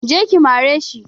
Je ki mare shi!